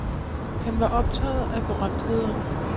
Han var optaget af berømtheder.